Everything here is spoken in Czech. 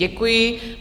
Děkuji.